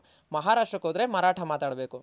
ಮಹಾರಾಷ್ಟ್ರಕ್ ಹೋದ್ರೆ ಮರಾಠ ಮಾತಾಡ್ ಬೇಕು